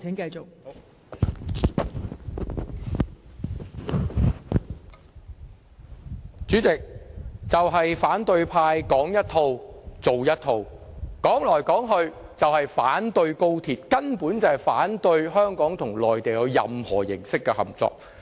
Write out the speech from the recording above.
代理主席，反對派"說一套，做一套"，說到底就是反對高鐵，反對香港與內地有任何形式的合作。